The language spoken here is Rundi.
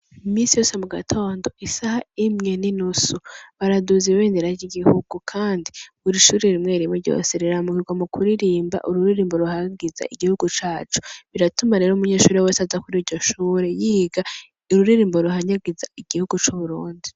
Imisi yose mu gatondo isaha imwe n'inusu baraduza ibendera ry'igihugu kandi buri ishure rimwe rimwe ryose riraramukirwa mu kuririmba ururimbo ruhayagiza igihugu cacu biratuma rero umunyeshure wese aza kuri iryo shure yiga ururirimbo ruhayagiza igihugu c'uburundi.